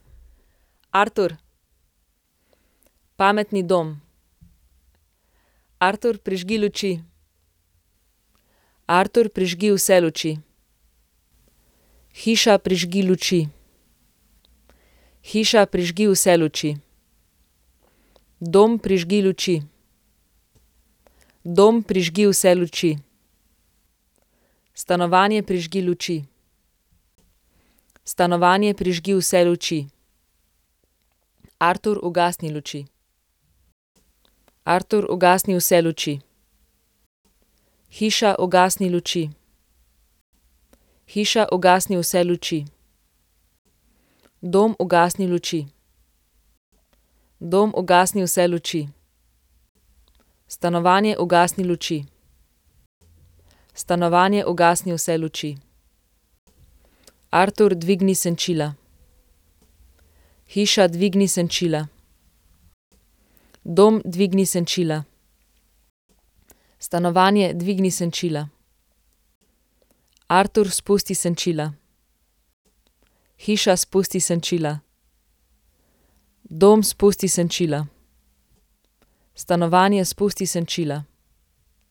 Artur. Pametni dom. Artur, prižgi luči. Artur, prižgi vse luči. Hiša, prižgi luči. Hiša, prižgi vse luči. Dom, prižgi luči. Dom, prižgi vse luči. Stanovanje, prižgi luči. Stanovanje, prižgi vse luči. Artur, ugasni luči. Artur, ugasni vse luči. Hiša, ugasni luči. Hiša, ugasni vse luči. Dom, ugasni luči. Dom, ugasni vse luči. Stanovanje, ugasni luči. Stanovanje, ugasni vse luči. Artur, dvigni senčila. Hiša, dvigni senčila. Dom, dvigni senčila. Stanovanje, dvigni senčila. Artur, spusti senčila. Hiša, spusti senčila. Dom, spusti senčila. Stanovanje, spusti senčila.